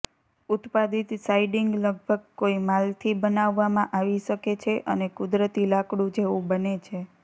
ઉત્પાદિત સાઈડિંગ લગભગ કોઈ માલથી બનાવવામાં આવી શકે છે અને કુદરતી લાકડું જેવું બને છે